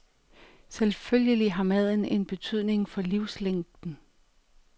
Selvfølgelig har maden en betydning for livslængden.